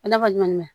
Ala ka ɲuman mɛn